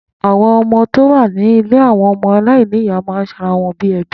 Àwọn ọmọ tó wà ní ilé ọmọ alainiya ma ń ṣe ara wọn bíi ẹbí